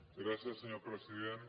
gràcies senyor president